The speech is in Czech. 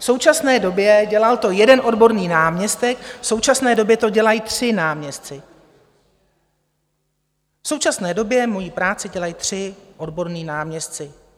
V současné době - dělal to jeden odborný náměstek - v současné době to dělají tři náměstci, v současné době moji práci dělají tři odborní náměstci.